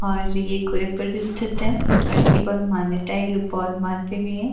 और ये गोरखपुर भी स्थित है और इसकी बहोत मान्यता है ये लोग बहोत मानते भी हैं।